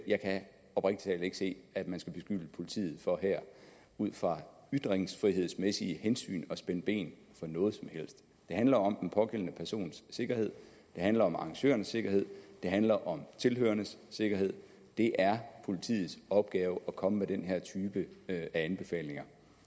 jeg kan oprigtig talt ikke se at man skal beskylde politiet for her ud fra ytringsfrihedsmæssige hensyn at spænde ben for noget som helst det handler om den pågældende persons sikkerhed det handler om arrangørernes sikkerhed det handler om tilhørernes sikkerhed det er politiets opgave at komme med den her type af anbefalinger